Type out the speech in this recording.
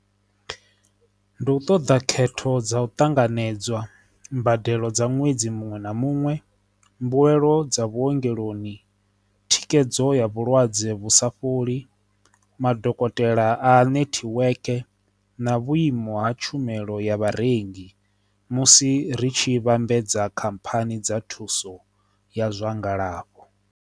Ndi u ṱoḓa khetho dza u ṱanganedzwa mbadelo dza ṅwedzi muṅwe na muṅwe mbuelo dza vhuongeloni thikedzo ya vhulwadze vhu sa fholi, madokotela a nethiweke na vhuimo ha tshumelo ya vharengi musi ri tshi vhambedza khamphani dza thuso ya zwa ngalafho.